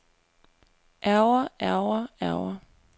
ærgre ærgre ærgre